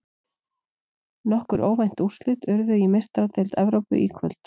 Nokkur óvænt úrslit urðu í Meistaradeild Evrópu í kvöld.